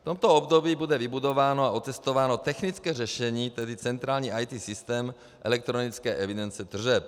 V tomto období bude vybudováno a otestováno technické řešení, tedy centrální IT systém elektronické evidence tržeb.